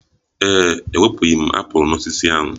Ee e, ewepụghi m apụl n'osisi ahụ